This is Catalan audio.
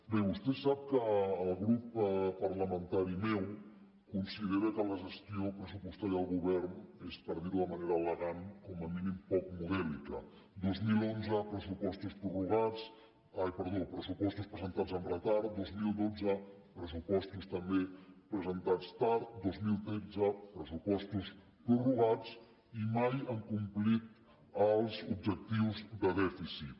bé vostè sap que el grup parlamentari meu considera que la gestió pressupostària del govern és per dirho de manera elegant com a mínim poc modèlica dos mil onze pressupostos presentats amb retard dos mil dotze pressupostos també presentats tard dos mil tretze pressupostos prorrogats i mai han complit els objectius de dèficit